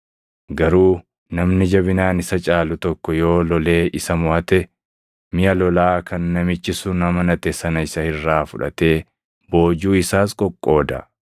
Garuu namni jabinaan isa caalu tokko yoo lolee isa moʼate, miʼa lolaa kan namichi sun amanate sana isa irraa fudhatee boojuu isaas qoqqooda.